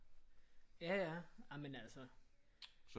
Ja ja jamen altså